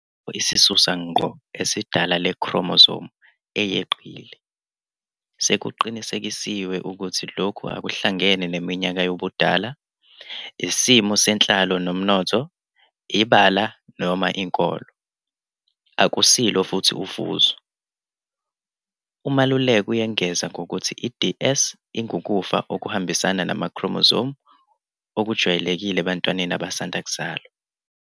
Asikho isisusa ngqo esidala le-chromosome eyeqile. Sekuqinisekisiwe ukuthi lokhu akuhlangene neminyaka yobudala, isimo senhlalo nomnotho, ibala noma inkolo. Akusilo futhi ufuzo. "UMaluleka uyengeza ngokuthi i-DS ingukufa okuhambisana nama-chromosome okujwayelekile ebantwaneni abasanda kuzalwa.